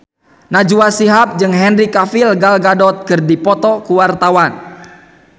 Najwa Shihab jeung Henry Cavill Gal Gadot keur dipoto ku wartawan